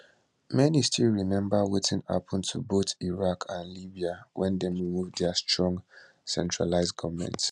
many still remember wetin happun to both iraq and libya wen dem remove dia strong centralised goment